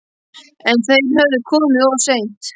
En þeir höfðu komið of seint.